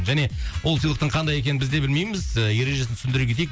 және ол сыйлықтың қандай екенін біз де білмейміз ы ережесін түсіндіре кетейік